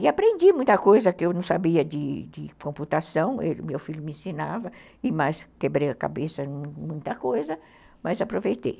E aprendi muita coisa que eu não sabia de computação, meu filho me ensinava, e mais quebrei a cabeça em muita coisa, mas aproveitei.